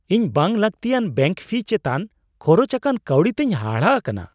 ᱤᱧ ᱵᱟᱝᱼᱞᱟᱹᱠᱛᱤᱭᱟᱱ bank fee ᱪᱮᱛᱟᱱ ᱠᱷᱚᱨᱚᱪ ᱟᱠᱟᱱ ᱠᱟᱹᱣᱰᱤ ᱛᱮᱧ ᱦᱟᱦᱟᱲᱟ ᱟᱠᱟᱱᱟ ᱾